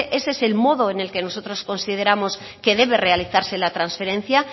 ese es el modo que nosotros consideramos que debe realizarle la transferencia